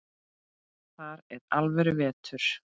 Þar er alvöru vetur.